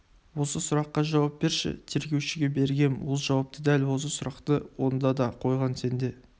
осы сұраққа жауап берші тергеушіге бергем ол жауапты дәл осы сұрақты онда да қойған сен де